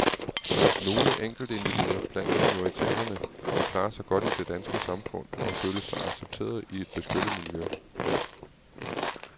Nogle enkeltindivider blandt minoriteterne vil klare sig godt i det danske samfund og føle sig accepterede i et beskyttet miljø.